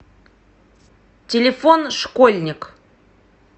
телефон школьник